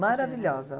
Maravilhosa.